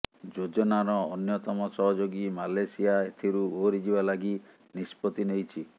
ଯୋଜନାର ଅନ୍ୟତମ ସହଯୋଗୀ ମାଲେସିଆ ଏଥିରୁ ଓହରିଯିବା ଲାଗି ନିଷ୍ପତ୍ତି ନେଇଛି